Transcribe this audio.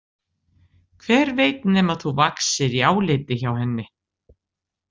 Hver veit nema þú vaxir í áliti hjá henni?